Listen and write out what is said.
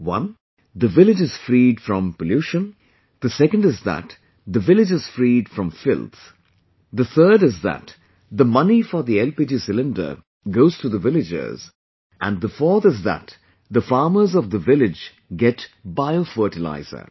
One, the village is freed from pollution; the second is that the village is freed from filth, the third is that the money for the LPG cylinder goes to the villagers and the fourth is that the farmers of the village get bio fertilizer